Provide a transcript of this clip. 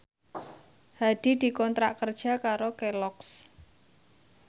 Hadi dikontrak kerja karo Kelloggs